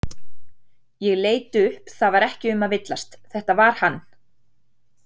Ég leit upp það var ekki um að villast, þetta var hann.